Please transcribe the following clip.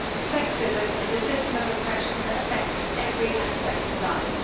Sexism is a system of oppression that affects every aspect of life.